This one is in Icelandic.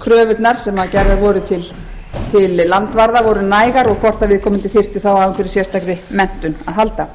kröfurnar sem gerðar voru til landvarða væru nægar og hvort að viðkomandi þyrfti þá á einhverri sérstakri menntun að halda